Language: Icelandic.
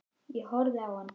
Ég horfði á hann.